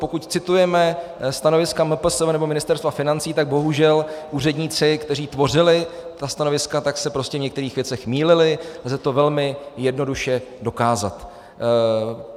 Pokud citujeme stanoviska MPSV nebo Ministerstva financí, tak bohužel úředníci, kteří tvořili ta stanoviska, tak se prostě v některých věcech mýlili a lze to velmi jednoduše dokázat.